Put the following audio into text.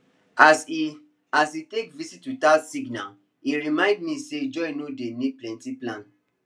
as e as e take visit without signal e remind me say joy no dey need plenty plan